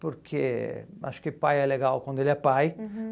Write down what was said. Porque acho que pai é legal quando ele é pai.